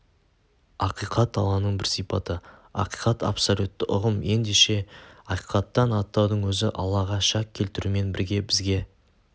ақиқат алланың бір сипаты ақиқат абсолютті ұғым ендеше ақиқаттан аттаудың өзі аллаға шәк келтірумен бірге бізге